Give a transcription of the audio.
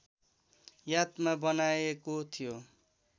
यादमा बनाइएको थियो